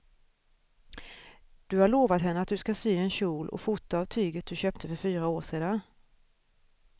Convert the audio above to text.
Du har lovat henne att du ska sy en kjol och skjorta av tyget du köpte för fyra år sedan.